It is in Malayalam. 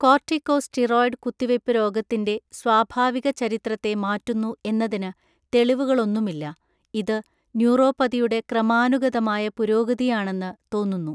കോർട്ടികോസ്റ്റീറോയിഡ് കുത്തിവയ്പ്പ് രോഗത്തിന്റെ സ്വാഭാവിക ചരിത്രത്തെ മാറ്റുന്നു എന്നതിന് തെളിവുകളൊന്നുമില്ല, ഇത് ന്യൂറോപ്പതിയുടെ ക്രമാനുഗതമായ പുരോഗതിയാണെന്ന് തോന്നുന്നു.